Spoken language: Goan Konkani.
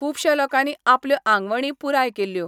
खुपश्या लोकांनी आपल्यो आंगवणी पुराय केल्यो.